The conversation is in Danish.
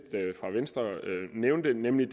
fra venstre nævnte nemlig